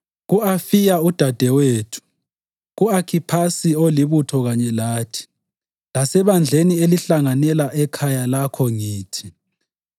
ku-Afiya udadewethu, ku-Akhiphasi olibutho kanye lathi, lasebandleni elihlanganela ekhaya lakho ngithi: